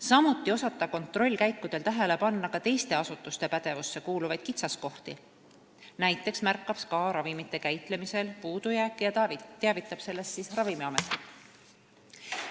Samuti tuleb kontrollkäikudel osata tähele panna ka teiste asutuste pädevusse kuuluvaid kitsaskohti – näiteks märkab SKA ravimite käitlemisel puudujääke ja teavitab sellest Ravimiametit.